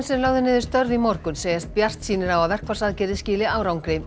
sem lögðu niður störf í morgun segjast bjartsýnir á að verkfallsaðgerðir skili árangri